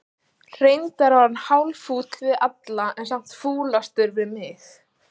Reyndar var hann hálffúll við alla, en samt fúlastur við mig.